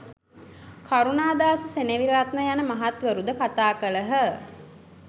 කරුණදාස සෙනෙවිරත්න යන මහත්වරුද කතා කළහ.